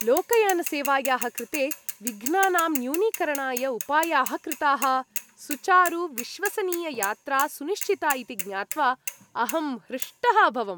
लोकयानसेवायाः कृते विघ्नानां न्यूनीकरणाय उपायाः कृताः, सुचारुविश्वसनीययात्रा सुनिश्चिता इति ज्ञात्वा अहं हृष्टः अभवम् ।